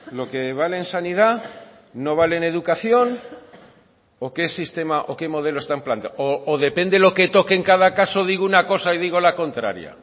lo que vale en sanidad no vale en educación o qué sistema o qué modelo están planteando o depende lo que toque en cada caso digo una cosa y digo la contraria